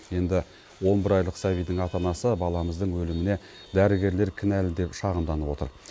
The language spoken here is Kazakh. енді он бір айлық сәбидің ата анасы баламыздың өліміне дәрігерлер кінәлі деп шағымданып отыр